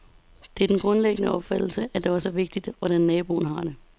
Det er den grundlæggende opfattelse, at det også er vigtigt, hvordan naboen har det.